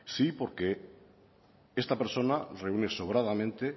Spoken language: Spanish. sí porque esta persona reúne sobradamente